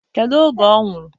Kedu oge ọ nwụrụ?